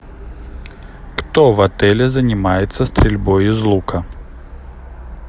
кто в отеле занимается стрельбой из лука